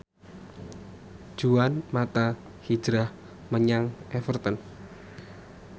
Juan mata hijrah menyang Everton